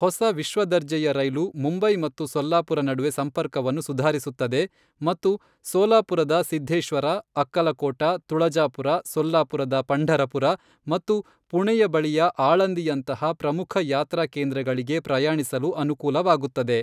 ಹೊಸ ವಿಶ್ವದರ್ಜೆಯ ರೈಲು ಮುಂಬೈ ಮತ್ತು ಸೊಲ್ಲಾಪುರ ನಡುವೆ ಸಂಪರ್ಕವನ್ನು ಸುಧಾರಿಸುತ್ತದೆ ಮತ್ತು ಸೋಲಾಪುರದ ಸಿದ್ಧೇಶ್ವರ, ಅಕ್ಕಲಕೋಟ, ತುಳಜಾಪುರ, ಸೊಲ್ಲಾಪುರದ ಪಂಢರಪುರ ಮತ್ತು ಪುಣೆ ಬಳಿಯ ಆಳಂದಿಯಂತಹ ಪ್ರಮುಖ ಯಾತ್ರಾ ಕೇಂದ್ರಗಳಿಗೆ ಪ್ರಯಾಣಿಸಲು ಅನುಕೂಲವಾಗುತ್ತದೆ.